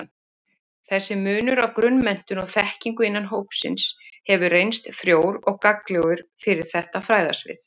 Þessi munur á grunnmenntun og-þekkingu innan hópsins hefur reynst frjór og gagnlegur fyrir þetta fræðasvið.